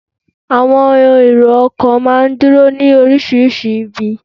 Àwọn èrò ọkọ̀ máa ń dúró ní orísìírísìí ibi